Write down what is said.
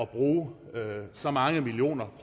bruge så mange millioner